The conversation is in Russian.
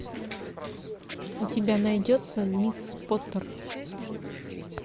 у тебя найдется мисс поттер